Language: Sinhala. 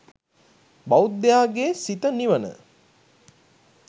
බෞද්ධයාගේ සිත නිවන